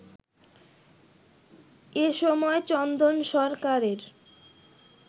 এসময় চন্দন সরকারের